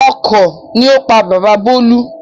Ọkọ̀ ni ó pa bàbá bolu